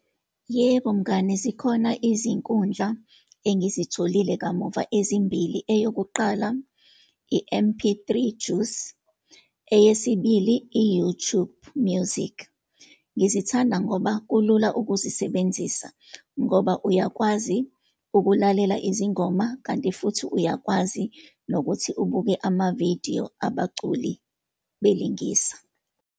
Yebo mngani, zikhona izinkundla engizitholile kamuva ezimbili. Eyokuqala, i-MP3 Juice, eyesibili, i-YouTube Music. Ngizithanda ngoba kulula ukuzisebenzisa, ngoba uyakwazi ukulalela izingoma, kanti futhi uyakwazi nokuthi ubuke amavidiyo abaculi belingisa.